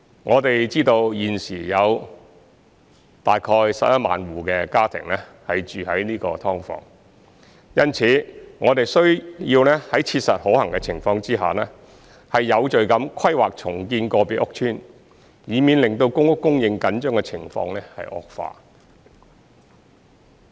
我們知道現時有大概11萬戶家庭住在"劏房"，因此，我們需要在切實可行的情況下，有序地規劃重建個別屋邨，以免令公屋供應緊張的情況惡化。